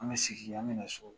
An bɛ segin an bɛ na so